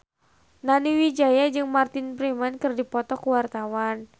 Nani Wijaya jeung Martin Freeman keur dipoto ku wartawan